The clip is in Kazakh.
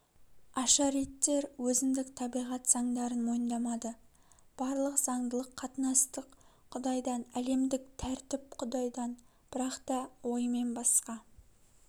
ашариттер өзіндік табиғат заңдарын мойындамады барлық заңдылық қатынастық құдайдан әлемдік тәртіп құдайдан бірақ та оймен басқа